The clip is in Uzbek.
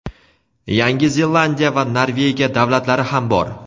Yangi Zelandiya va Norvegiya davlatlari ham bor.